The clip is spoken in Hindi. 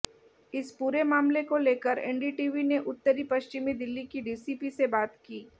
इस पूरे मामले को लेकर एनडीटीवी ने उत्तरी पश्चिमी दिल्ली की डीसीपी से बात की